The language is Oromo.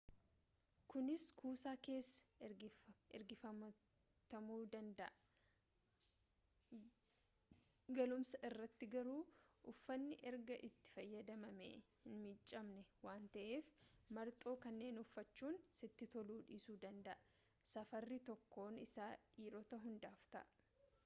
kunis kuusaa keessaa ergifatamuu danda'a galumsa irratti garuu uffanni erga itti fayyadamamee hin miicamne waan ta'eef marxoo kanneen uffachuun sitti toluu dhiisuu danda'a safarri tokkoon isaa dhiirota hundaaf ta'a